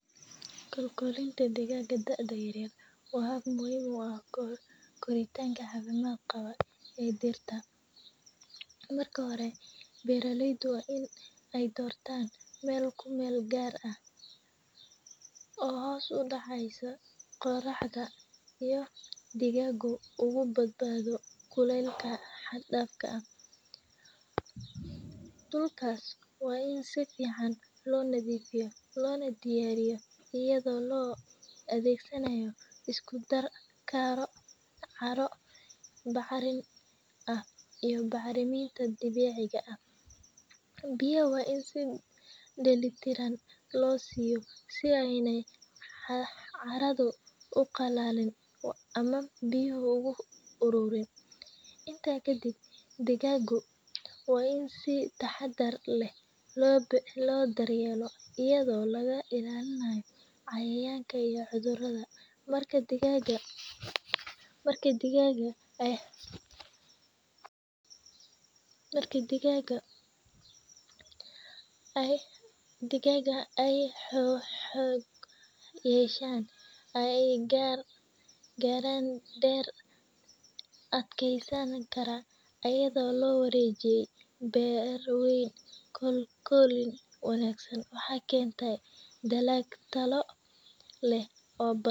Kolkolinta digaaga da'da yaryar waa muhim u ah koritanka cafimaad qaba ee dhirta. Marka hore beeraleydu waa in ay dortaan meel ku meel gaar ah oo hoos u dhaceyso qorraxda iyo digaagu ugu badbaado kuleelka xad dhafka ah. Dhulkas waa ini sifiican loo nadifiyo loona diyaariyo iyadoo loo adeegsanayo isku dar carro bacrin ah iyo bacriminta dabiciga ah ,biya waa in sii dheli tiran loo siiyo si ayna caradu u qallalin ama biyuhu ugu hurubin . Intaa kadib digaagu waa in si taxaddar leh loo daryeelo iyadoo laga ilaalinayo cayayanka iyo cudurrada . Marka digaaga ay xoog yeshaan ay garaan deer adkeysan kara ,ayadoo loo wareegay beer weyn ,korrin wanaagsan waxaa kentaa dalag talo leh oo badan.